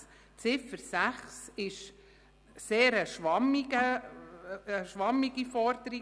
Die Ziffer 6 ist eine sehr schwammige Forderung: